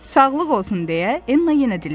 Sağlıq olsun deyə Enna yenə dilləndi.